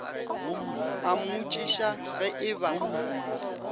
a mmotšiša ge e ba